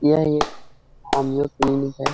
यह एक homeo clinic है।